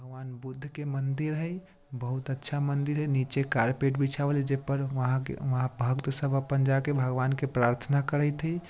भगवान् बुद्ध के मंदिर हई बहुत अच्छा मंदिर हई नीचे कारपेट बीछवाल जे पर वहा-के-वहां भक्त सब अपन जा के भगवान के प्राथना करैत हई।